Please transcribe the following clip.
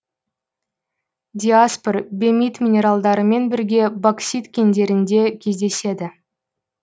диаспор бемит минералдарымен бірге боксит кендерінде кездеседі